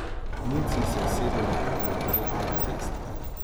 Muci se usede na breg ob cesti.